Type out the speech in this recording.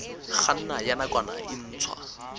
kganna ya nakwana e ntshwa